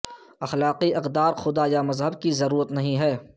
اخلاقی اقدار خدا یا مذہب کی ضرورت نہیں ہے